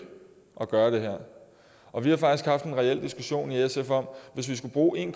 at gør det her og vi har faktisk haft en reel diskussion i sf om hvis vi skulle bruge en